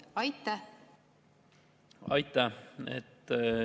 Aitäh!